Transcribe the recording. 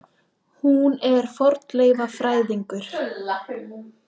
Hún er fornleifafræðingur.